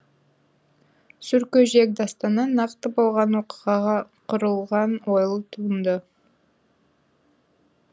сүркөжек дастаны нақты болған оқиғаға құрылған ойлы туынды